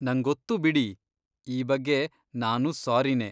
ನಂಗೊತ್ತು ಬಿಡಿ! ಈ ಬಗ್ಗೆ ನಾನೂ ಸ್ಸಾರಿನೇ.